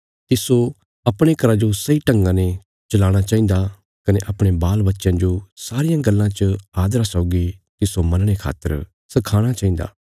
तिस्सो अपणे घरा जो सही ढंगा ने चलाणा चाहिन्दा कने अपणे बालबच्चयां जो सारियां गल्लां च आदरा सौगी तिस्सो मनणे खातर सखाणा चाहिन्दा